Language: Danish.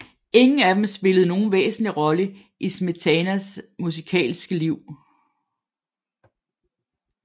Ingen af dem spillede nogen væsentlig rolle i Smetanas musikalske liv